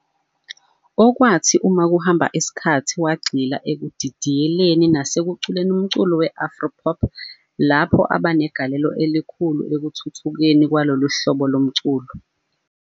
Okwathi uma kuhamba isikhathi wagxila ekudidiyeleni nasekuculeni umculo we-afro pop lapho aba negalelo elikhulu ekuthuthukeni kwalolu hlobo lomculo